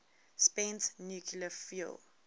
spent nuclear fuel